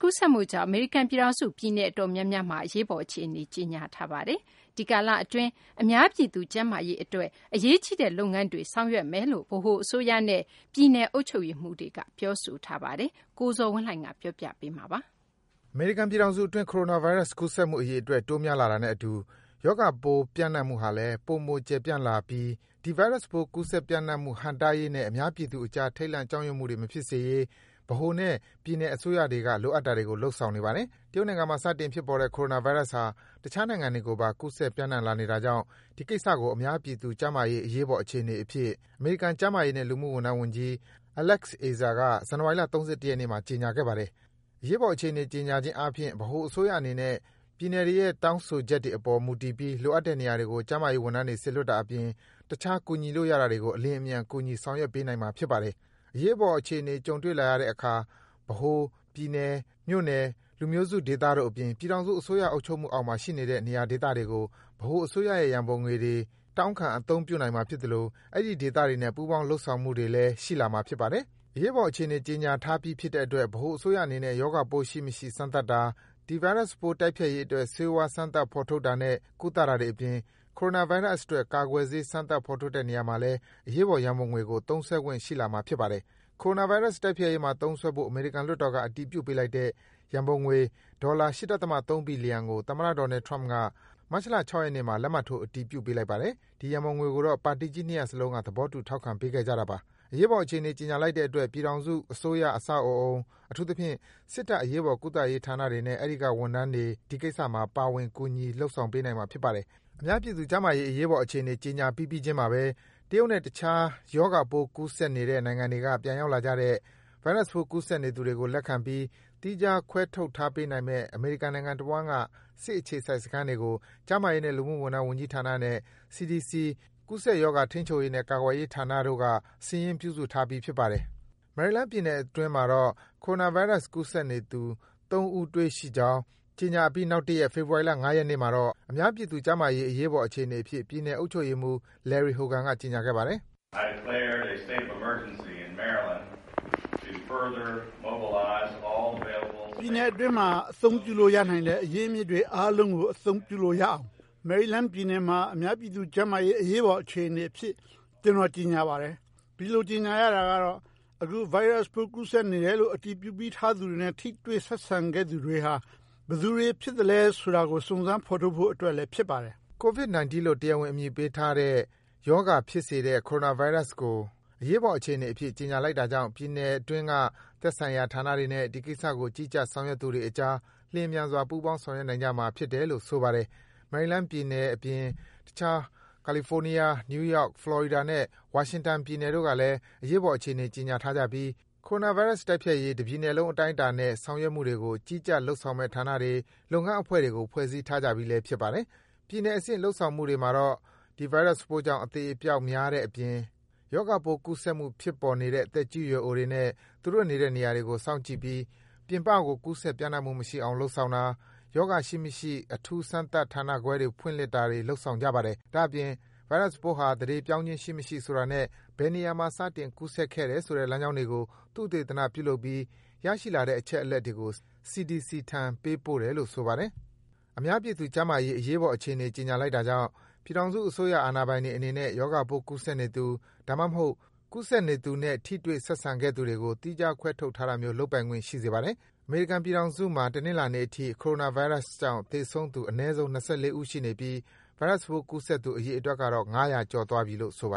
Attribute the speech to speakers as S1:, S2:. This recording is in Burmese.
S1: ကူးစက်မှုကြောင့် အမေရိကန်ပြည်ထောင်စု ပြည်နယ်အတော်များများမှာ အရေးပေါ်အခြေအနေ ကြေညာလိုက်ပါတယ်။ ဒီကာလအတွင်းမှာ အများပြည်သူကျန်းမာရေးအတွက် အရေးကြီးတဲ့လုပ်ငန်းတွေ ဆောင်ရွက်သွားမယ်လို့ ဗဟိုအစိုးရနဲ့ ပြည်နယ်အုပ်ချုပ်ရေးမှူးတွေက ပြောဆိုထားပါတယ်။ အပြည့်အစုံကိုတော့ ကိုဇော်ဝင်းလှိုင်က တင်ပြပေးပါမယ်။ အမေရိကန်ပြည်ထောင်စုအတွင်း Coronavirus ကူးစက်မှုအရေအတွက် တိုးများလာတာနဲ့အတူ ရောဂါပိုး ပျံ့နှံ့မှုဟာလည်း ပိုမို ကျယ်ပြန့်လာပြီး ဒီဗိုင်းရပ်စ်ပိုး ကူးစက်ပျံ့နှံ့မှုဟန့်တားရေးနဲ့ အများပြည်သူအကြား ထိတ်လန့် ကြောက်ရွံ့မှု မဖြစ်စေရေး ဗဟိုနဲ့ ပြည်နယ်အစိုးရတွေက လိုအပ်တာတွေကို လုပ်ဆောင်နေပါတယ်။ တရုတ်နိုင်ငံမှာ စတင်ဖြစ်ပေါ်တဲ့ Coronavirus ဟာ တခြားနိုင်ငံတွေကိုပါ ကူးစက် ပျံ့နှံ့ လာနေတာကြောင့် ဒီကိစ္စကို အများပြည်သူ ကျန်းမာရေး အရေးပေါ်အခြေအနေအဖြစ် အမေရိကန် ကျန်းမာရေးနဲ့ လူမှုဝန်ထမ်းဝန်ကြီး Alex Azar က ဇန်နဝါရီလ ၃၁ ရက်နေ့မှာ ကြေညာခဲ့ပါတယ်။ အရေးပေါ်အခြေအနေ ကြေညာခြင်းအားဖြင့် ဗဟိုအစိုးရအနေနဲ့ ပြည်နယ်တွေရဲ့ တောင်းဆိုချက်တွေ အပေါ်မူတည်ပြီး လိုအပ်တဲ့နေရာတွေကို ကျန်းမာရေးဝန်ထမ်းတွေ စေလွတ်တာအပြင် တခြား ကူညီလို့ရတာတွေကို အလျင်အမြန် ကူညီ ဆောင်ရွက်ပေးနိုင်မှာ ဖြစ်ပါတယ်။ အရေးပေါ်အခြေအနေ ကြုံတွေ့လာရတဲ့အခါ ဗဟို၊ ပြည်နယ်၊ မြို့နယ်၊ လူမျိုးစုဒေသတို့အပြင် ပြည်ထောင်စု အစိုးရ အုပ်ချုပ်မှုအောက်မှာ ရှိနေတဲ့ နေရာဒေသတွေကို ဗဟိုအစိုးရရဲ့ ရန်ပုံငွေတွေကို တောင်းခံ အသုံးပြုနိုင်မှာဖြစ်သလို အဲဒီဒေသတွေနဲ့ ပူးပေါင်း လုပ်ဆောင်မှုတွေလည်း ရှိလာမှာ ဖြစ်ပါတယ်။ အရေးပေါ်အခြေအနေ ကြေညာထားပြီးဖြစ်တဲ့အတွက် ဗဟိုအစိုးရအနေနဲ့ ရောဂါပိုးရှိမရှိ စမ်းသပ်တာ၊ ဒီဗိုင်းရပ်စ်ပိုး တိုက်ဖျက်ရေးအတွက် ဆေးဝါး စမ်းသပ် ဖော်ထုတ်တာနဲ့ ကုသတာတွေ အပြင် Coronavirus အတွက် ကာကွယ်ဆေး စမ်းသပ် ဖော်ထုတ်တဲ့နေရာမှာ အရေးပေါ် ရန်ပုံငွေကို သုံးစွဲခွင့် ရှိလာမှာ ဖြစ်ပါတယ်။ အရေးပေါ်အခြေအနေကြေညာလိုက်တဲ့အတွက် ပြည်ထောင်စုအစိုးရအဆောက်အဦး၊ အထူးသဖြင့် စစ်တပ်အရေးပေါ်ကုသရေးဌာနတွေနဲ့ အဲဒီက ဝန်ထမ်းတွေ ဒီကိစ္စမှာ ပါဝင် ကူညီ လုပ်ဆောင် ပေးနိုင်မှာ ဖြစ်ပါတယ်။ အများပြည်သူကျန်းမာရေး အရေးပေါ်အခြေအနေ ကြေညာပြီးပြီးချင်းမှာဘဲ တရုတ်နဲ့ တခြား ရောဂါပိုး ကူးစက်နေတဲ့ နိုင်ငံတွေက ပြန်ရောက်လာကြတဲ့ ဗိုင်းရပ်စ်ပိုး ကူးစက်နေသူတွေကို လက်ခံပြီး သီးခြား ခွဲထုတ်ထားပေးနိုင်မယ့် အမေရိကန်နိုင်ငံတဝှမ်းက စစ်အခြေစိုက် စခန်းတွေကို ကျန်းမာရေးနဲ့ လူမှု ဝန်ထမ်း ဝန်ကြီးဌာနနဲ့ CDC ကူးစက်ရောဂါ ထိန်းချုပ်ရေးနဲ့ ကာကွယ်ရေးဌာနတို့က စာရင်း ပြုစုထားပြီး ဖြစ်ပါတယ်။ မယ်ရီလန်းပြည်နယ်အတွင်းမှာတော့ Coronavirus ကူးစက်နေသူ ၃ ဦးတွေ့ခဲ့ကြောင်း ကြေညာပြီးနောက်တရက် ဖေဖော်ဝါရီလ ၅ ရက်နေ့မှာ အများပြည်သူကျန်းမာရေး အရေးပေါ်အခြေအနေအဖြစ် ပြည်နယ်အုပ်ချုပ်ရေးမှူး Larry Hogan က ကြေညာခဲ့ပါတယ်။ “ပြည်နယ်အတွင်းမှာ အသုံးပြုလို့ရနိုင်တဲ့ အရင်းအမြစ်တွေအားလုံးကို အသုံးချလို့ရနိုင်အောင် မယ်ရီလန်းပြည်နယ်မှာ အများအပြည်သူကျန်းမာရေး အရေးပေါ်အခြေအနေအဖြစ် ကျနော် ကြေညာလိုက်ပါတယ်။ ဒီလိုကြေညာရတာကတော့ အခု ဗိုင်းရပ်စ်ပိုး ကူးစက်နေတယ်လို့ အတည်ပြုထားပြီးသူတွေနဲ့ ထိတွေ့ ဆက်ဆံခဲ့သူတွေဟာ ဘယ်သူတွေဖြစ်သလဲဆိုတာကို စုံစမ်း ဖော်ထုတ်ဖို့အတွက်လဲ ဖြစ်ပါတယ်။” Covid-19 လို့ တရားဝင်အမည်ပေးထားတဲ့ ရောဂါဖြစ်စေတဲ့ Coronavirus ကို အရေးအပေါ် အခြေအနေ အဖြစ် ကြေညာလိုက်တာကြောင့် ပြည်နယ်အတွင်းက သက်ဆိုင်ရာဌာနတွေနဲ့ ဒီကိစ္စကို ကြီးကြပ် ဆောင်ရွက်သူတွေအကြား လျင်မြန်စွာ ပူးပေါင်း ဆောင်ရွက်နိုင်ကြမှာ ဖြစ်တယ်လို့ ဆိုပါတယ်။ မယ်ရီလန်းအပြင် တခြား ကာလီဖိုးနီးယား၊ နယူးယောက်၊ ဖလော်ရီဒါနဲ့ ဝါရှင်တန်ပြည်နယ်တို့ကလည်း အရေးပေါ်အခြေအနေ ကြေညာထားကြပြီး Coronavirus တိုက်ဖျက်ရေး တပြည်နယ်လုံး အတိုင်းအတာနဲ့ ဆောင်ရွက်နေမှုတွေကို ကြီးကြပ် လုပ်ဆောင်မယ့်ဌာနတွေ၊ လုပ်ငန်းအဖွဲ့တွေကို ဖွဲ့စည်းထားကြပြီးလည်း ဖြစ်ပါတယ်။ ပြည်နယ်အဆင့် လုပ်ဆောင်မှုတွေမှာတော့ ဒီဗိုင်းရပ်စ်ပိုးကြောင့် အသေအပျောက်များတဲ့အပြင် ရောဂါပိုး ကူးစက်မှုဖြစ်ပေါ်နေတဲ့ သက်ရွယ်အိုတွေနဲ့ သူတို့နေတဲ့ နေရာတွေကို စောင့်ကြည့်ပြီး ပြင်ပကို ကူးစက် ပျံ့နှံ့မှုမရှိအောင် လုပ်ဆောင်တာ၊ ရောဂါရှိမရှိ အထူးစမ်းသပ်တဲ့ဌာနတွေ ဖွင့်လှစ် တာတွေ လုပ်ဆောင်နေကြပါတယ်။ ဒါ့အပြင် ဗိုင်းရပ်စ်ပိုးဟာ သန္ဓေပြောင်းခြင်းရှိမရှိ ဆိုတာနဲ့ ဘယ်နေရာက စတင်ကူးစက်ခဲ့တယ်ဆိုတဲ့ လမ်းကြောင်းတွေကို သုတေသနပြုလုပ်ပြီး ရရှိလာတဲ့အချက်အလက်တွေကို CDC ထံ ပေးပို့တယ်လို့ ဆိုပါတယ်။ အများပြည်သူကျန်းမာရေးအတွက် အရေးပေါ်အခြေအနေ ကြေညာလိုက်တာကြောင့် ပြည်ထောင်စုအစိုးရ အာဏာပိုင်တွေအနေနဲ့ ရောဂါပိုး ကူးစက်နေသူ၊ ဒါမှမဟုတ် ကူးစက်နေသူနဲ့ ထိတွေ့ ဆက်ဆံခဲ့သူတွေကို သီးခြား ခွဲထုတ်ထားတာမျိုး လုပ်ပိုင်ခွင့်ရှိစေပါတယ်။ အမေရိကန်ပြည်ထောင်စုမှာ တနင်္လာနေ့အထိ Coronavirus ကြောင့် သေဆုံးသူ အနည်းဆုံး ၂၄ ဦး ရှိနေပြီး ဗိုင်းရပ်စ်ပိုးကူးစက်သူ အရေအတွက်ကတော့ ၅၀၀ ကျော်သွားပြီလို့ ဆိုပါ